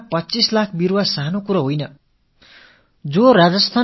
இராஜஸ்தானத்தில் 25 இலட்சம் மரக்கன்றுகள் நடுவது என்பது ஒரு சிறிய காரியம் அல்ல